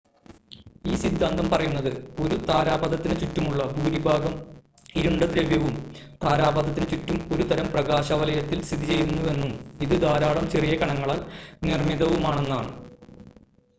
ഈ സിദ്ധാന്തം പറയുന്നത് ഒരു താരാപഥത്തിന് ചുറ്റുമുള്ള ഭൂരിഭാഗം ഇരുണ്ട ദ്രവ്യവും താരാപഥത്തിന് ചുറ്റും ഒരുതരം പ്രകാശവലയത്തിൽ സ്ഥിതി ചെയ്യുന്നുവെന്നും ഇത് ധാരാളം ചെറിയ കണങ്ങളാൽ നിർമ്മിതവുമാണെന്നാണ്